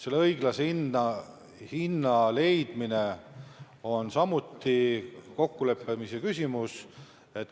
Õiglase hinna leidmine on samuti kokkuleppe küsimus.